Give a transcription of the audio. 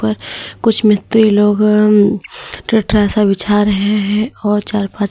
कुछ मिस्त्री लोग अं टटरा सा बिछा रहे हैं और चार पांच--